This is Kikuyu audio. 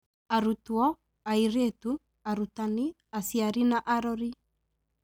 Arutwo, Airĩtu, Arutani, Aciari na arori